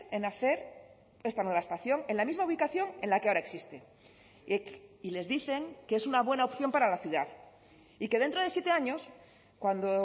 en hacer esta nueva estación en la misma ubicación en la que ahora existe y les dicen que es una buena opción para la ciudad y que dentro de siete años cuando